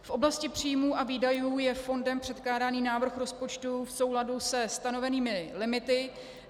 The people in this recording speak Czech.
V oblasti příjmů a výdajů je fondem předkládaný návrh rozpočtu v souladu se stanovenými limity.